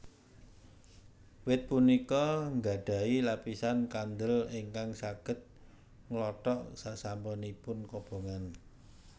Wit punika nggadhahi lapisan kandel ingkang saged nglothok sasampunipun kobongan